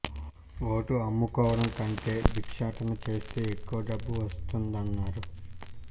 vote అమ్ముకోవడం కంటే బిక్షాటన చేస్తే ఎక్కువ డబ్బు వస్తుందన్నారు